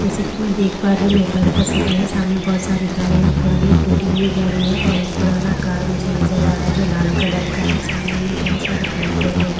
जैसे कि मैं देख पा रही हूं दोपहर का समय सामने बहोत सारी गाड़ियां खड़ी है एक टूटी हुई गाड़ी है और एक पुराना कार मुझे नजर आ रहा है जो लाल कलर का है सामने में बहोत सारे पेड़ पौधे हैं।